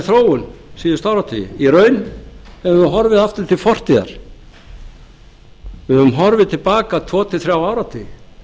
þróun síðustu áratugi í raun höfum við horfið aftur til fortíðar við höfum horfið til baka tvo til þrjá áratugi